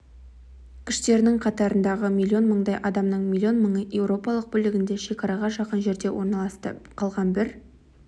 күштерінің қатарындағы миллион мыңдай адамның миллион мыңы еуропалық бөлігінде шекараға жақын жерлерде орналасты қалған бір